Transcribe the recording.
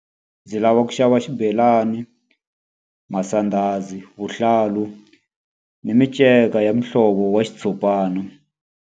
Ndzi lava ku xava xibelani, masandhazi, vuhlalu ni miceka ya mihlovo wa xitshopani.